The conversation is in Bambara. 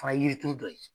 Fana ye yiri turu dɔ ye